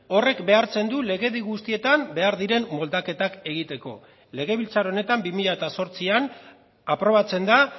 horrek behartzen du legedi guztietan behar diren moldaketak egiteko legebiltzar honetan bi mila zortzian aprobatzen da